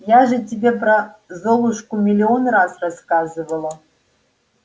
я же тебе про золушку миллион раз рассказывала